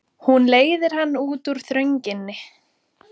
Hún leiðir hann út úr þrönginni.